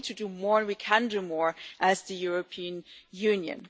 We need to do more, we can do more as the European Union.